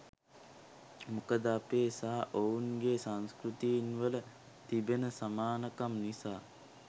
මොකද අපේ සහ ඔවුන් ගේ සංස්කෘතීන් වල තිබෙන සමානකම් නිසා.